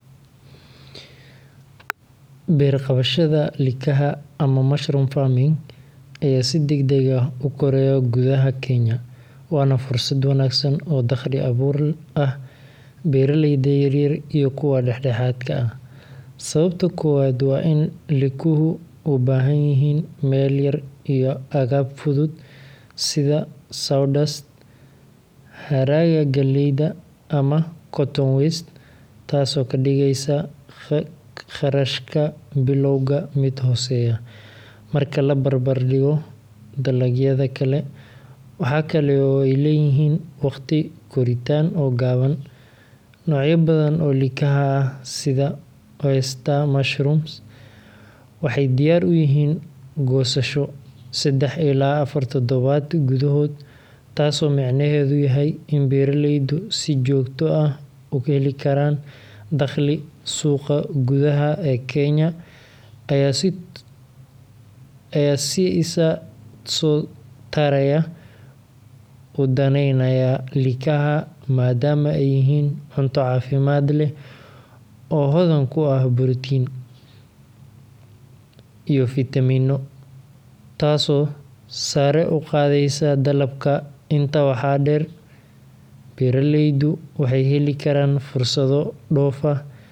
Beer qabashada likaha ama mushroom farming ayaa si degdeg ah u koraya gudaha Kenya, waana fursad wanaagsan oo dakhli abuur ah beeraleyda yar-yar iyo kuwa dhexdhexaadka ah. Sababta koowaad waa in likuhu u baahan yihiin meel yar iyo agab fudud sida sawdust, hadhaaga galleyda, ama cotton waste, taasoo ka dhigaysa kharashka bilowga mid hooseeya marka la barbar dhigo dalagyada kale. Waxaa kale oo ay leeyihiin waqti koritaan oo gaaban — noocyo badan oo likaha ah sida Oyster mushrooms waxay diyaar u yihiin goosasho seddax ilaa afar toddobaad gudahood, taasoo micnaheedu yahay in beeraleydu si joogto ah u heli karaan dakhli. Suuqa gudaha ee Kenya ayaa si isa soo taraya u daneynaya likaha maadaama ay yihiin cunto caafimaad leh oo hodan ku ah borotiin, antioxidants, iyo fiitamiino, taasoo sare u qaadaysa dalabka. Intaa waxaa dheer, beeraleydu waxay heli karaan fursado dhoof ah, iyadoo.